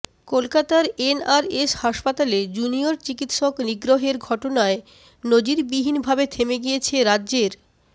কলকাতার এনআরএস হাসপাতালে জুনিয়র চিকিৎসক নিগ্রহের ঘটনায় নজিরবিহীন ভাবে থেমে গিয়েছে রাজ্যের